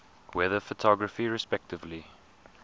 weather photography respectively